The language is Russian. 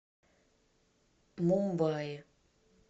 мумбаи